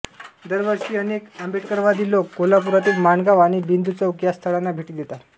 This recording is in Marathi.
दरवर्षी अनेक आंबेडकरवादी लोक कोल्हापुरातील माणगाव आणि बिंदू चौक या स्थळांना भेटी देतात